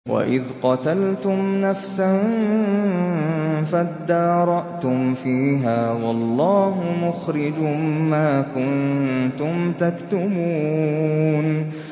وَإِذْ قَتَلْتُمْ نَفْسًا فَادَّارَأْتُمْ فِيهَا ۖ وَاللَّهُ مُخْرِجٌ مَّا كُنتُمْ تَكْتُمُونَ